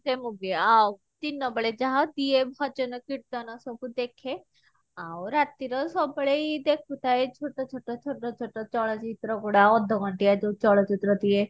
ସେ movie ଆଉ ଦିନ ବେଳେ ଯାହା ଦିଏ ଭଜନ କିର୍ତନ ସବୁ ଦେଖେ ଆଉ ରାତିର ସବୁବେଳେ ଏଇ ଦେଖୁଥାଏ ଛୋଟ ଛୋଟ ଛୋଟ ଛୋଟ ଚଳଚିତ୍ର ଗୁଡା ଅଧଘଣ୍ଟିଆ ଯଉ ଚଳଚିତ୍ର ଦିଏ